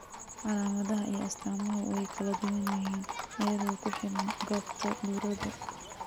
Calaamadaha iyo astaamuhu way kala duwan yihiin iyadoo ku xidhan goobta burodu.